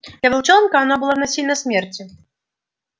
для волчонка оно было равносильно смерти